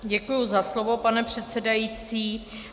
Děkuji za slovo, pane předsedající.